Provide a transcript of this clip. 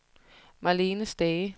Marlene Stage